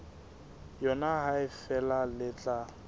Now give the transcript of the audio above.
yona ha feela le tla